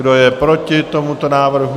Kdo je proti tomuto návrhu?